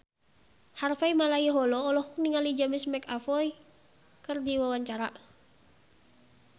Harvey Malaiholo olohok ningali James McAvoy keur diwawancara